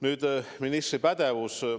Nüüd ministri pädevus.